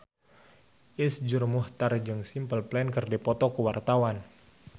Iszur Muchtar jeung Simple Plan keur dipoto ku wartawan